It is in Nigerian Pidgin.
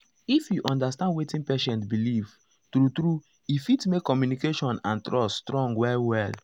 if you understand wetin patient believe true true e fit make communication and trust strong well well.